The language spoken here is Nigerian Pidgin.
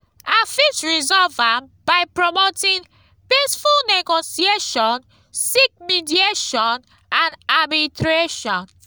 i fit resolve am by promoting peaceful negotiation seek mediation and arbitration.